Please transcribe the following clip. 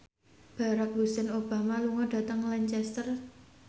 Barack Hussein Obama lunga dhateng Lancaster